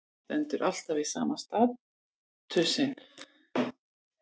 Stendur alltaf við sama staurinn.